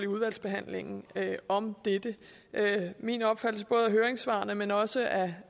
udvalgsbehandlingen om dette min opfattelse både af høringssvarene men også af